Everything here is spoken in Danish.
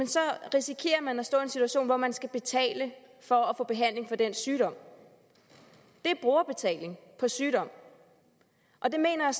så risikerer man at stå i en situation hvor man skal betale for at få behandling for den sygdom det er brugerbetaling på sygdom og det mener